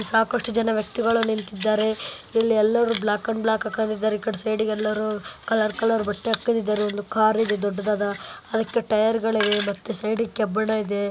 ಸಾಕಷ್ಟು ಜನ ವ್ಯಕ್ತಿಗಳು ನಿಂತಿದ್ದಾರೆ ಇಲ್ಲಿ ಎಲ್ಲಾರು ಬ್ಲಾಕ್ ಅಂಡ್ ಬ್ಲಾಕ್ ಹಾಕೊಂಡಿದ್ದಾರೆ ಈಕಡೆ ಸೈಡಿಗೆ ಎಲ್ಲಾರು ಕಲರ ಬಟ್ಟೆ ಹಾಕೊಂಡಿದ್ದಾರೆ ದೊಡ್ಡದ ಕಾರಿದೆ ಪಕ್ಕದಲ್ಲಿ ಟೈಯರ್ಗಳಿಗೆ ಕಬ್ಬಿಣ ಇದೆ